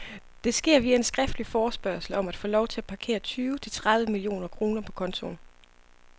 Det sker via en skriftlig forespørgsel om at få lov til at parkere tyve til tredive millioner kroner på kontoen.